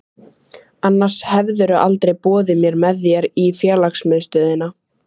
Annars hefðirðu aldrei boðið mér með þér í félagsmiðstöðina.